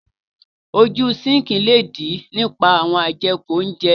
Ojú síǹkì le dí nípa àwọn ajeku óńjẹ.